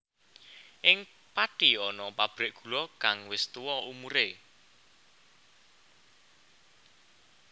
Ing Pathi ana pabrik gula kang wis tuwa umure